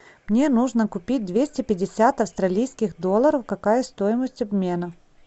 мне нужно купить двести пятьдесят австралийских долларов какая стоимость обмена